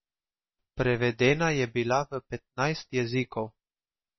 Prevedena je bila v petnajst jezikov.